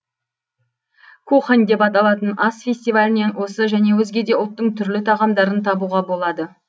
кухонъ деп аталатын ас фестивалінен осы және өзге де ұлттың түрлі тағамдарын табуға болады